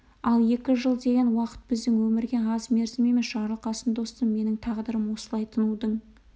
ал екі жыл деген уақыт біздің өмірге аз мерзім емес жарылқасын достым менің тағдырым осылай тынудың